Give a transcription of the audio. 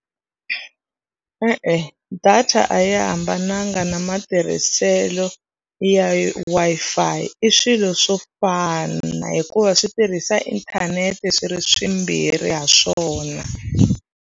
E-e, data a yi hambananga na matirhiselo ya Wi-Fi i swilo swo fana hikuva swi tirhisa inthanete swi ri swimbirhi ha swona.